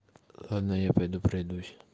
ладно я пойду пройдусь